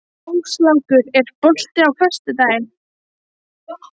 Áslákur, er bolti á föstudaginn?